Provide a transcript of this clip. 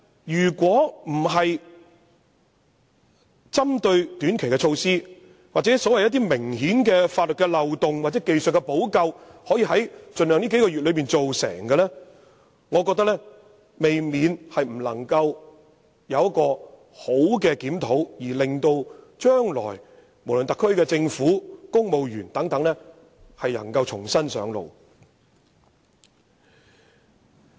但是，如不針對一些短期的措施，就明顯的法律漏洞作出技術補救，並盡量在這數個月內完成，我認為便不能夠作出完善的檢討，無法讓特區政府和公務員在日後重新上路。